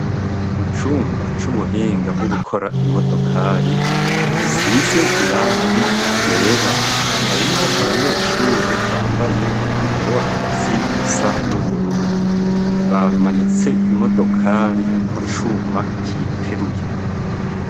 mu cumba c'ubuhinga bwo gukora imodokari isize irangi ryera harimwo abanyeshure bambaye umwambaro w'akazi usa n'ubururu bamanitse imodokari ku cuma kiyiteruye